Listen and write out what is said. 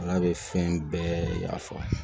Ala bɛ fɛn bɛɛ ya fa